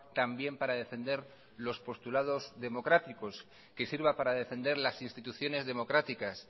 también para defender los postulados democráticos que sirva para defender las instituciones democráticas